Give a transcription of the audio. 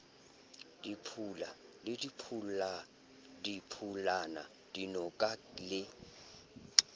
diphula le diphulana dinoka le